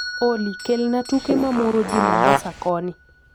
olly kell na tuke na moro ji mombasa koni